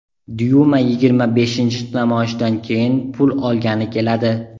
Dyuma yigirma beshinchi namoyishdan keyin pul olgani keladi.